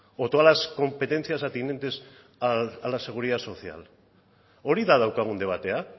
o todas las competencias atinentes a la seguridad social hori da daukagun debatea